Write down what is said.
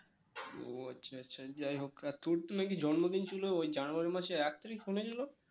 ও আচ্ছা আচ্ছা যাই হোক আর তোর কি নাকি জন্মদিন ছিল ওই জানুয়ারী মাসের এক তারিক ছিল